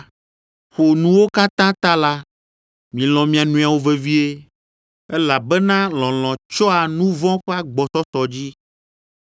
Ƒo nuwo katã ta la, milɔ̃ mia nɔewo vevie, elabena lɔlɔ̃ tsyɔa nu vɔ̃ ƒe agbɔsɔsɔ dzi.